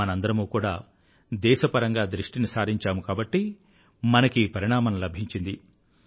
మనందరమూ కూడా దేశపరంగా దృష్టిని సారించాము కాబట్టి మనకీ పరిణామం లభించింది